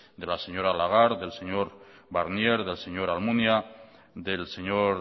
de la señora lagarde del señor barnier del señor almunia del señor